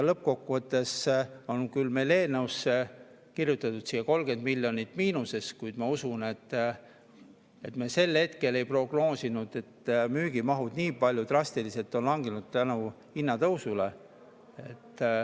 Lõppkokkuvõttes on küll meil eelnõusse kirjutatud 30 miljonit miinust, kuid ma usun, et me sel hetkel ei prognoosinud, et müügimahud hinnatõusu tõttu nii drastiliselt langevad.